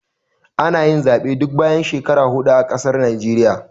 Ana yin Zaɓe duk bayan shekaru hudu a ƙasar Naijeriya